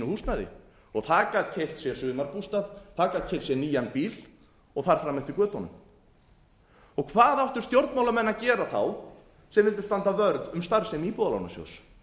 húsnæði það gat keypt sér sumarbústað það gat keypt sér nýjan bíl og þar fram eftir götunum hvað áttu stjórnmálamenn að gera þá sem vildu standa vörð um starfsemi íbúðalánasjóðs